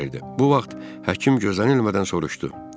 Bu vaxt həkim gözlənilmədən soruşdu.